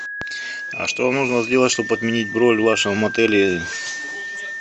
а что нужно сделать чтобы отменить бронь в вашем отеле